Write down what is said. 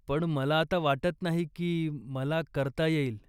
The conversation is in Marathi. पण मला आता वाटत नाही की मला करता येईल.